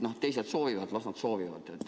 Kui teised soovivad, siis las nad soovivad.